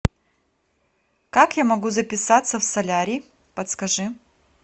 как я могу записаться в солярий подскажи